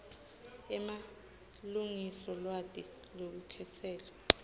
emalengiso lwati lwelukhetselo